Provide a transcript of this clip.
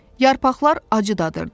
Yarpaqlar acı dadırdı.